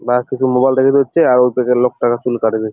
মার্কেটে মোবাইল -টা বের হচ্ছে আর ওই পাশের লোকটা চুল কাটবে ।